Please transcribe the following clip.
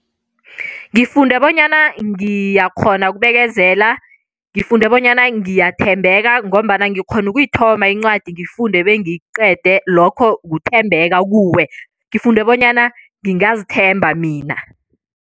Ngifunde bonyana ngiyakghona ukubekezela, ngifunde bonyana ngiyathembeka ngombana ngikghona ukuyithoma incwadi ngiyifunde bengiyiqede, lokho kuthembeka kuwe. Ngifunde bonyana ngingazithemba mina.